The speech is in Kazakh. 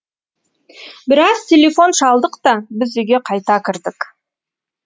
біраз телефон шалдық та біз үйге қайта кірдік